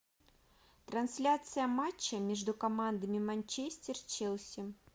трансляция матча между командами манчестер челси